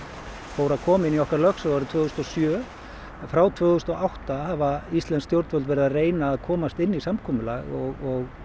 fór að koma inn í okkar lögsögu árið tvö þúsund og sjö en frá tvö þúsund og átta hafa íslensk stjórnvöld verið að reyna að komast inn í samkomulag og